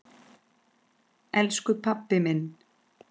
Elsku pabbi minn.